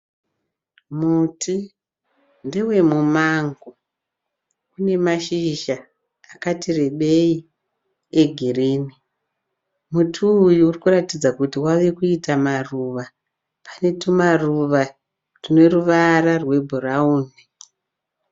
Muti ndewe mumango une mashizha akati rebei egirini. Muti uyu uri kuratidza kuti wave kuita maruva. Pane tumaruva tune ruvara rwebhurauni.